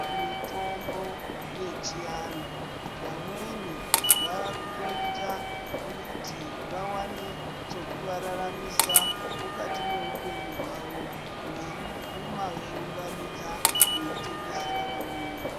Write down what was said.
Mitombo yechianhu vamweni vavakutoita kuti vawane chekuvararamisa mukati meupenyu hwavo veikuma veiunganidza veitengesera vamweni.